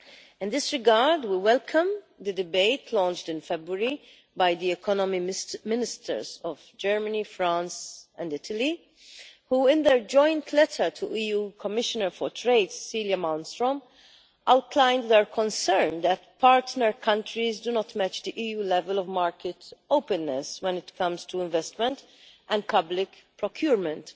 In this regard, we welcome the debate launched in February by the Economic Ministers of Germany, France and Italy, who in their joint letter to EU Commissioner for trade, Cecilia Malmström, outlined their concern that partner countries do not match the EU level of market openness when it comes to investment and public procurement.